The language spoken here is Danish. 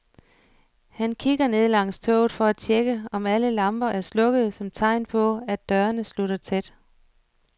Han kigger ned langs toget for at tjekke, om alle lamper er slukkede som tegn på, at dørene slutter tæt.